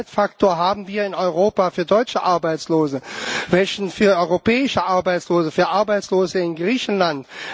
Welchen Zeitfaktor haben wir in Europa für deutsche Arbeitslose, welchen für europäische Arbeitslose, für Arbeitslose in Griechenland?